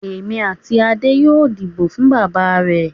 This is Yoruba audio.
Èmi àti Adé yóò dìbò fún bàbá rẹ̀.